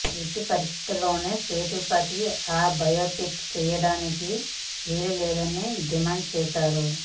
ఎట్టి పరిస్థితుల్లోనూ సేతుపతి ఆ బయోపిక్ చేయడానికి వీల్లేదని డిమాండ్ చేశారు